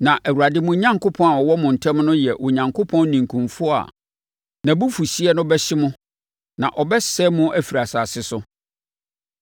na Awurade mo Onyankopɔn a ɔwɔ mo ntam no yɛ Onyankopɔn ninkunfoɔ a nʼabufuhyeɛ no bɛhye mo na ɔbɛsɛe mo afiri asase so.